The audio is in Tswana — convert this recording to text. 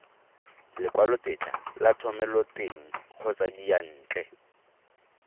lekwalotetla la thomeloteng kgotsa diyantle